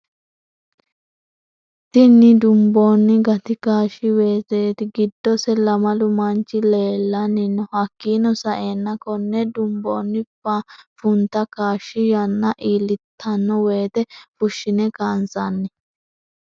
Tinni dunbooni gati kaashi weeseti giddose lamalu manchi leelani no hakiino sa'eena konne dunbooni funtta kaashshi yanna iilitano woyiite fushshine kaansanni.